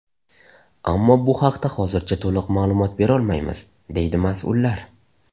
Ammo bu haqda hozircha to‘liq ma’lumot berolmaymiz, deydi mas’ullar.